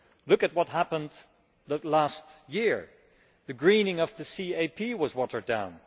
Look at what happened last year the greening of the CAP was watered down.